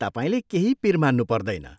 तपाईँले केही पिर मान्नु पर्दैन।